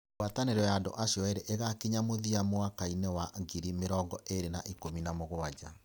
Ngwatanĩro ya andũ acio erĩ ĩgakinya mũthia mwaka wa mwakaĩnĩ wa ngiri mĩrongo ĩĩrĩ na ikumi na mũgwanja.